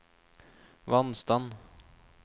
vannstand